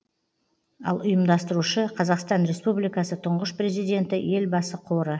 ал ұйымдастырушы қазақстан республикасы тұңғыш президенті елбасы қоры